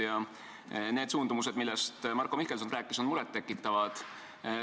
Ja need suundumused, millest Marko Mihkelson rääkis, on murettekitavad.